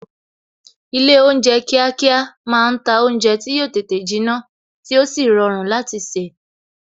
Ilé oúnjẹ kíákíá máa ń ta oúnjẹ tí yo tètè jinna tí ó sì rọrùn láti se